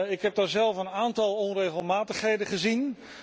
Ik heb daar zelf een aantal onregelmatigheden gezien.